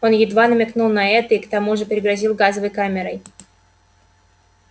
он едва намекнул на это и к тому же пригрозил газовой камерой